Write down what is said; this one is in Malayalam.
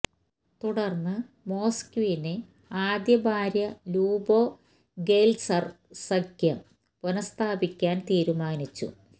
തുടർന്ന് മൊസ്ക്വിന് ആദ്യ ഭാര്യ ല്യുബോ ഗെല്ത്സെര് സഖ്യം പുനഃസ്ഥാപിക്കാൻ തീരുമാനിച്ചു